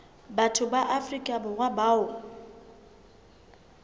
batho ba afrika borwa bao